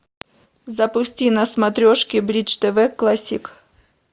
запусти на смотрешке бридж тв классик